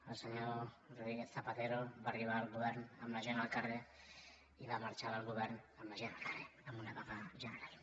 el senyor rodríguez zapatero va arribar al govern amb la gent al carrer i va marxar del govern amb la gent al carrer amb una vaga general